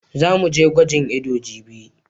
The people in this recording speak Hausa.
Za mu je gwajin ido jibi.